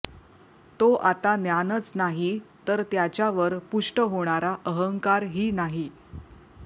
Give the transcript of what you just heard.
तो आता ज्ञानच नाही तर त्याच्यावर पुष्ट होणारा अहंकारही नाही